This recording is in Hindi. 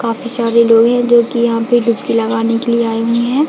काफी सारे लोग है जोकि यहाँ पे डुबकी लगाने के लिए आए हुए हैं।